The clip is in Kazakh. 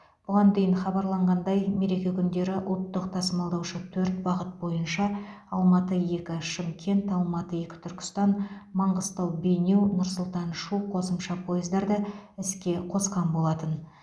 бұған дейін хабарланғандай мереке күндері ұлттық тасымалдаушы төрт бағыт бойынша алматы екі шымкент алматы екі түркістан маңғыстау бейнеу нұр сұлтан шу қосымша пойыздарды іске қосқан болатын